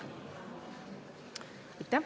Aitäh!